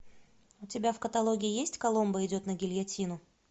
у тебя в каталоге есть коломбо идет на гильотину